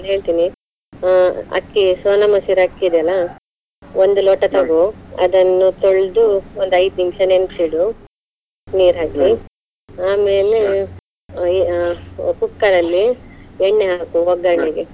ನಾನ್ ಹೇಳ್ತೀನಿ ಅಹ್ ಅಕ್ಕಿ Sona Masoori ಅಕ್ಕಿ ಇದೆ ಅಲ್ಲಾ ಒಂದು ಲೋಟ ಅದನ್ನು ತೊಳ್ದು ಒಂದು ಐದು ನಿಮಿಷ ನೆನ್ಸಿಡು, ನೀರ್ ಆಮೇಲೆ ಅಹ್ cooker ಅಲ್ಲಿ ಎಣ್ಣೆ ಹಾಕು .